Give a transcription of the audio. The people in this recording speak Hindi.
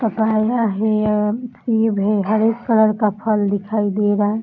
पापाया है सेब है। हरे कलर का फल दिखाई दे रहा है।